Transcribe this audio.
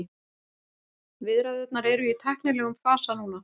Viðræðurnar eru í tæknilegum fasa núna